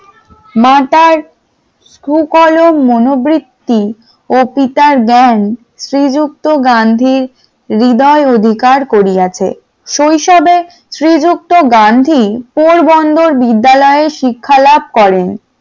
সুকারোগ মনোবৃত্তি ও পিতার জ্ঞান শ্রীযুক্ত গান্ধীর হৃদয় অধিকার করিয়াছে, শৈশবে শ্রীযুক্ত গান্ধী পোরবন্দর বিদ্যালয়ে শিক্ষা লাভ করেন।